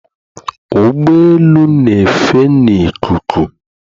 Ụgbọ elu n'efe na ikuku